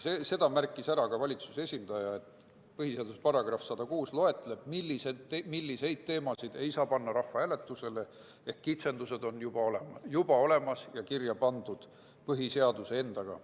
Sama märkis ka valitsuse esindaja, öeldes, et põhiseaduse § 106 juba sätestab, milliseid teemasid ei saa panna rahvahääletusele, ehk kitsendused on juba olemas ja põhiseaduses endas kirjas.